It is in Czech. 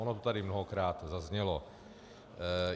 Ono to tady mnohokrát zaznělo.